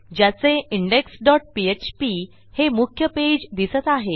ज्याचे index dot PHP हे मुख्य पेज दिसत आहे